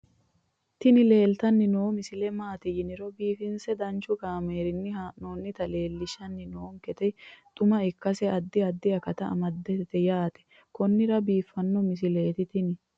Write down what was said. tini leeltanni noo misile maaati yiniro biifinse danchu kaamerinni haa'noonnita leellishshanni nonketi xuma ikkase addi addi akata amadaseeti yaate konnira biiffanno misileeti tini